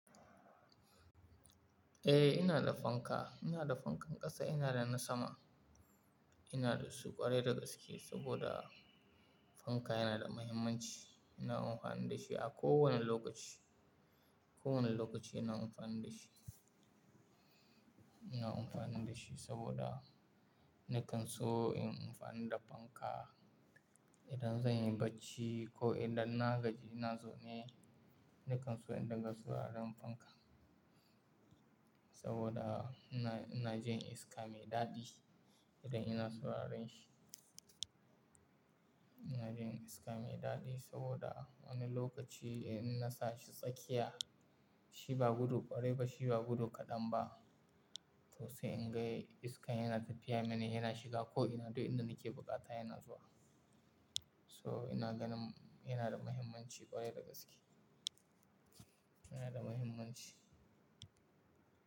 Eh, ina da fanka. Ina da fankan ƙasa, ina da na sama. Ina da su ƙwarai da gaske, saboda fanka yana da muhimmanci. Ina amfani da shi a kowane lokaci. Kowane lokaci ina amfani da shi. Ina amfani da shi saboda nakan so inyi amfani da fanka idan zan yi bacci ko idan na gaji ina zaune, nakan so in dinga sauraron fanka, saboda ina, ina jin iska mai daɗi idan ina sauraron shi. Ina jin iska mai daɗi saboda wani lokaci in na sa shi tsakiya, shi ba gudu ƙwarai ba, shi ba gudu kaɗan ba. To sai in ga iska yana tafiya min, yana shiga ko ina duk inda nake buƙata yana zuwa. To, ina ganin yana da muhimmanci ƙwarai da gaske. Yana da muhimmanci.